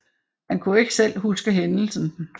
Han kunne ikke selv huske hændelsen